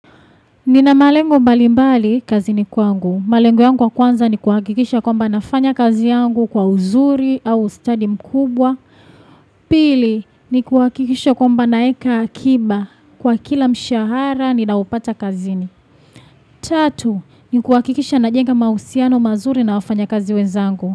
Nina malengo mbali mbali kazini kwangu. Malengo yangu ya kwanza ni kuhakikisha kwamba nafanya kazi yangu kwa uzuri au stadi mkubwa. Pili ni kuhakikisha kwamba naeka akiba kwa kila mshahara ninaopata kazini. Tatu ni kuhakikisha najenga mahusiano mazuri na wafanya kazi wezangu.